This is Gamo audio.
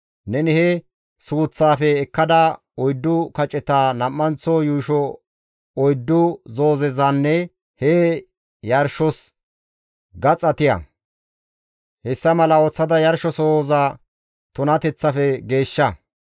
Neni he suuththaafe ekkada, oyddu kaceta, nam7anththo yuusho oyddu zoozezanne he yuushos gaxa tiya. Hessa mala ooththada yarshizasoza tunateththafe geeshsha.